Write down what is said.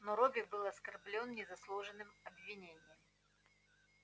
но робби был оскорблён незаслуженным обвинением